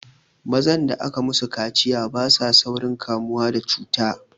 Mazan da aka musu kaciya basa saurin kamuwa da cuta